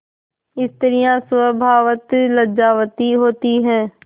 स्त्रियॉँ स्वभावतः लज्जावती होती हैं